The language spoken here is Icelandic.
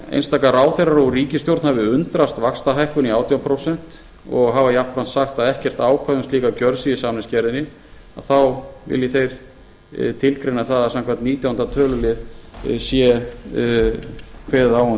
einstaka ráðherrar og ríkisstjórn hafi undrast vaxtahækkun í átján prósent og hafa jafnframt sagt að ekkert ákvæði um slíka gjörð sé í samningsgerðinni vilji þeir tilgreina það að samkvæmt nítjánda tölulið sé kveðið á um